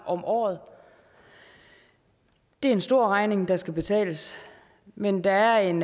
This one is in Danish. om året det er en stor regning der skal betales men der er en